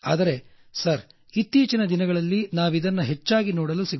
ಆದರೆ ಸಾರ್ ಇತ್ತೀಚಿನ ದಿನಗಳಲ್ಲಿ ನಾವಿದನ್ನ ಹೆಚ್ಚಾಗಿ ಕಾಣುತ್ತಿಲ್ಲ